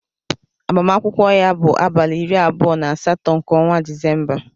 Agbamakwụkwọ ya bụ abalị iri abụọ na asatọ nke ọnwa Disemba.